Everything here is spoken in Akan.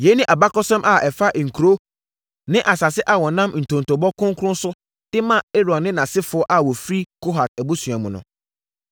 Yei ne abakɔsɛm a ɛfa nkuro ne asase a wɔnam ntontobɔ kronkron so de maa Aaron ne nʼasefoɔ a wɔfiri Kohat abusua mu no.